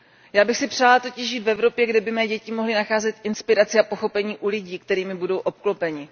Já bych si přála totiž žít v Evropě, kde by mé děti mohly nacházet inspiraci a pochopení u lidí, kterými budou obklopeni.